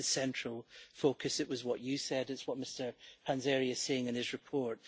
This is the central focus it was what you said, it's what Mr Panzeri is saying in his report.